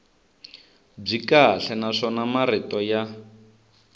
byi kahle naswona marito ya